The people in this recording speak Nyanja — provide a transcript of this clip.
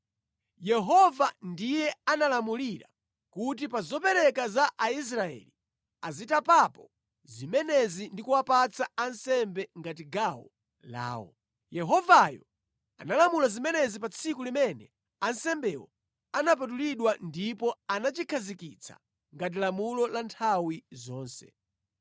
Yehova ndiye analamulira kuti pa zopereka za Aisraeli azitapapo zimenezi ndi kuwapatsa ansembe ngati gawo lawo. Yehovayo analamula zimenezi pa tsiku limene ansembewo anapatulidwa ndipo anachikhazikitsa ngati lamulo la nthawi zonse.